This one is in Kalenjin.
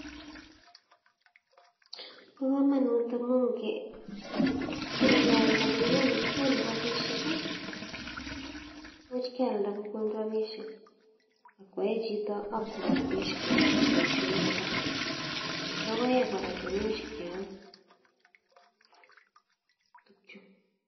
Bokomonut amun ng'ialda kokonu rabishek ak kwo chito ak koyaen rabishe choton boishonik alak, lokoek kora cheimuch kiam chuu.